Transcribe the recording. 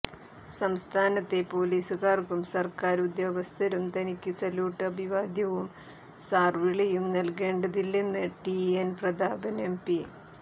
സംസ്ഥാനത്തെ പൊലീസുകാര്ക്കും സര്ക്കാര് ഉദ്യോഗസ്ഥരും തനിക്ക് സല്യൂട്ട് അഭിവാദ്യവും സാര് വിളിയും നല്കേണ്ടതില്ലെന്ന്് ടിഎന് പ്രതാപന് എംപി